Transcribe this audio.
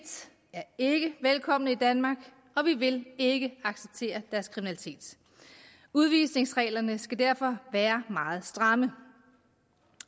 er ikke velkomne i danmark og vi vil ikke acceptere deres kriminalitet udvisningsreglerne skal derfor være meget stramme